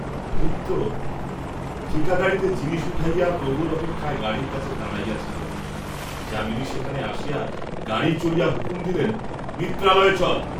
ভৃত্য ঠিকা গাড়ীতে জিনিষ উঠাইয়া প্রভুর অপেক্ষায় গাড়ীর কাছে দাঁড়াইয়া ছিল, যামিনী সেখানে আসিয়া গাড়ী চড়িয়া হুকুম দিলেন, মিত্রালয়ে চল।